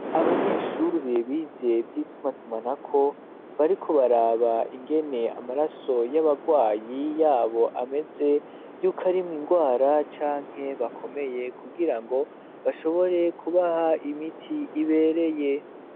Abanyeshuri bize vyitumatumanako bariko baraba ingene amaraso y'abarwayi yabo ameze yuko arimwe ingwara canke bakomeye kugira ngo bashobore kubaha imiti ibereye.